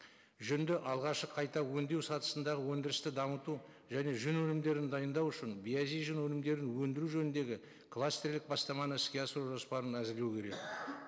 жүнді алғашқы қайта өңдеу сатысындағы өндірісті дамыту және жүн өнімдерін дайындау үшін биязи жүн өнімдерін өндіру жөніндегі кластерлік бастаманы іске асыру жоспарын әзірлеу керек